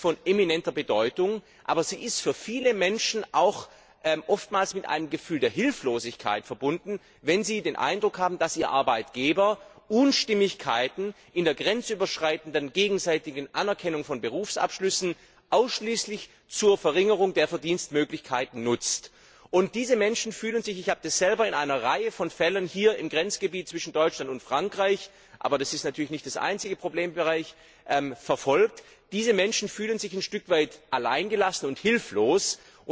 Sie ist von eminenter Bedeutung, aber sie ist für viele Menschen oftmals auch mit einem Gefühl der Hilflosigkeit verbunden, wenn sie den Eindruck haben, dass ihr Arbeitgeber Unstimmigkeiten in der grenzüberschreitenden gegenseitigen Anerkennung von Berufsabschlüssen ausschließlich zur Verringerung der Verdienstmöglichkeiten nutzt. Und diese Menschen fühlen sich ich habe das selber in einer Reihe von Fällen hier im Grenzgebiet von Deutschland und Frankreich verfolgt, aber das ist natürlich nicht der einzige Problembereich ein Stück weit alleingelassen und hilflos. Es ist